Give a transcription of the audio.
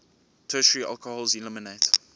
tertiary alcohols eliminate